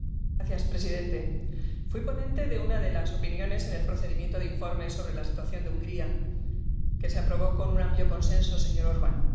Señor presidente, fui ponente de una de las opiniones en el procedimiento de informes sobre la situación de Hungría que se aprobó con un amplio consenso, señor Orbán.